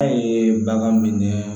A ye bagan minɛ